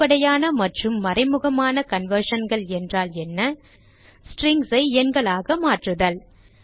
வெளிப்படையான மற்றும் மறைமுகமான conversionகள் என்றால் என்ன strings ஐ எண்களாக மாற்றுதல்